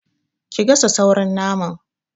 Ki gasa sauran naman!